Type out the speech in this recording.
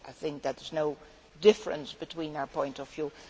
I think there is no difference between our points of view